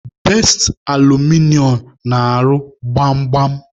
Best Alụmịnịo na-arụ gbam gbam.